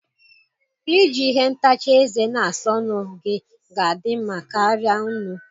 Iji ihe ntacha ézè na-asa ọnụ gị ga-adị mma karịa nnu